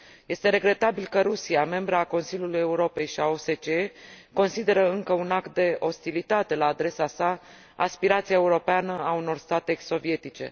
Este regretabil că Rusia, membră a Consiliului Europei și a OSCE, consideră încă un act de ostilitate la adresa sa aspirația europeană a unor state ex sovietice.